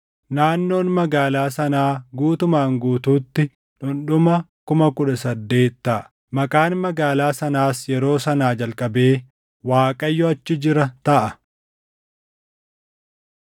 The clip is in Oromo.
“Naannoon magaalaa sanaa guutumaan guutuutti dhundhuma 18,000 taʼa. “Maqaan magaalaa sanaas yeroo sanaa jalqabee, ‘ Waaqayyo achi jira taʼa.’ ”